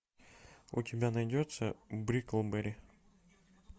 у тебя найдется бриклберри